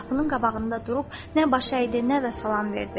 O qapının qabağında durub nə baş əydi, nə də salam verdi.